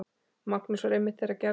Magnús var einmitt þeirrar gerðar.